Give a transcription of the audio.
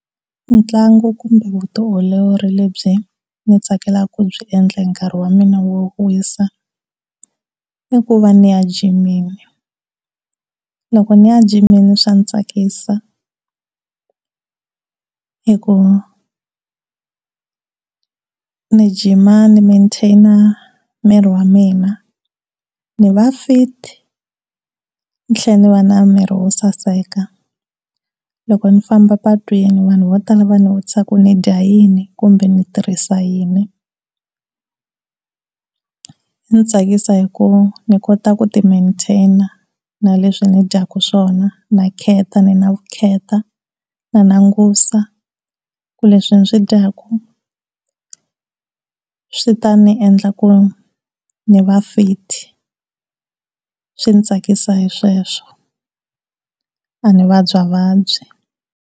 Ntlangu kumbe vutiolori lebyi mi tsakelaka ku byi endla nkarhi wa mina wo ku wisa i ku va ni ya jimini, loko ni ya jimini swa ndzi tsakisa hi ku ni gym ni mantain miri wa mina ni va fit ni tlhela ni va na miri wo saseka loko ni famba a patwini vanhu vo tala va ni ku nidya yini kumbe ndzi tirhisa yini. Ndzi tsakisiwa hi ku ndzi kota ku ti mantain na leswi ndzi dyaka swona na khetha ni na vu khetha na langutisa leswi ndzi swi dyaku swi ta ndzi endla ku ndzi va fit swi ndzi tsakisa hi sweswo a ni vabya vabyi.